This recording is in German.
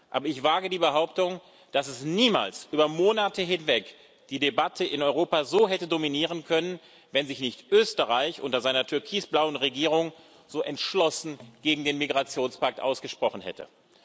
Aber ich wage die Behauptung, dass es niemals über Monate hinweg die Debatte in Europa so hätte dominieren können, wenn sich nicht Österreich unter seiner türkis blauen Regierung so entschlossen gegen den Migrationspakt ausgesprochen hätte.